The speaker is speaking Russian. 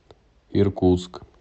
иркутск